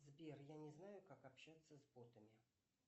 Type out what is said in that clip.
сбер я не знаю как общаться с ботами